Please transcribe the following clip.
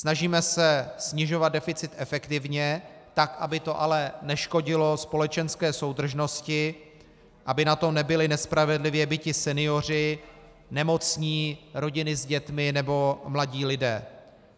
Snažíme se snižovat deficit efektivně, tak aby to ale neškodilo společenské soudržnosti, aby na tom nebyli nespravedlivě biti senioři, nemocní, rodiny s dětmi nebo mladí lidé.